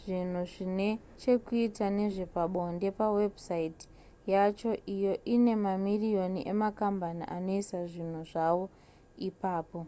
zvinhu zvine chekuita nezvepabonde pawebsite yacho iyo ine mamiriyoni emakambani anoisa zvinhu zvavo ipapo